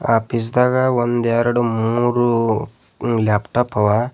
ಆಫೀಸ್ದಾಗ ಒಂದ್ ಎರಡ್ ಮೂರು ಲ್ಯಾಪ್ಟಾಪ್ ಅವ.